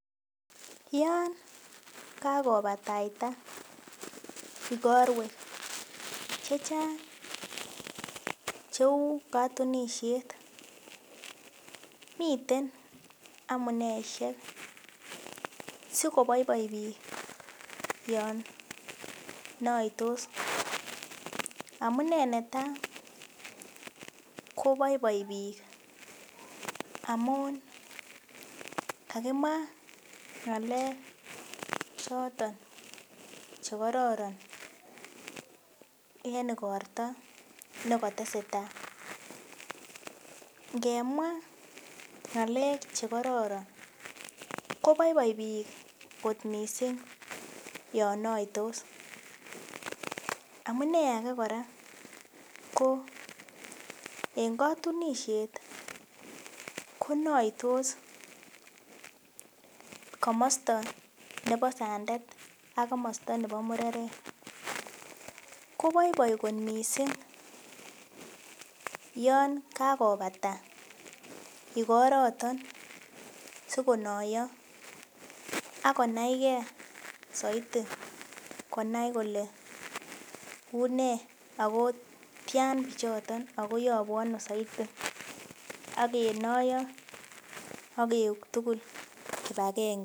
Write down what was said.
Yon kakopataita igorwek che chang cheu katunisiet. Miten amuneisiek sikoboiboi biik yon naitos. Amune neta koboiboi biik amun kakimwa ngalek choton che kororon en igorto ne kateseta. Ngemwa ngalek che kororon koboiboi biik kot mising yon naitos. Amune age kora ko en katunisiet konaitos komosta nebo sandet ak komosta nebo mureret, koboiboi mising yon kakopata igoroto sokonoyo ak konai ge saiti konai kole une ago tian pichoto ago yabu ano saiti ak kenoiyo ak keuk tugul agenge.